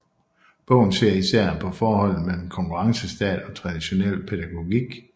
Bogen ser især på forholdet mellem konkurrencestat og traditionel pædagogik